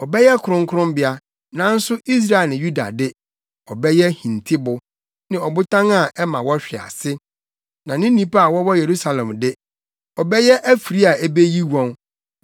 ɔbɛyɛ kronkronbea: nanso Israel ne Yuda de, ɔbɛyɛ hintibo ne ɔbotan a ɛma wɔhwe ase. Na ne nnipa a wɔwɔ Yerusalem de, ɔbɛyɛ afiri a ebeyi wɔn.